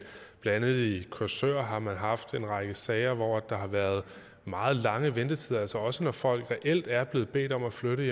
andet i korsør har man haft en række sager hvor der har været meget lange ventetider også når folk reelt er blevet bedt om at flytte